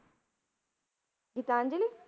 Gitanjali?